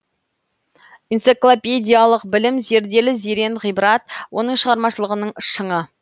энциклопедиялық білім зерделі зерен ғибрат оның шығармашылығының шыңы